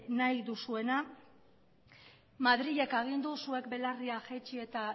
nahi duzuena madrilek agindu zuek belarriak jaitsi eta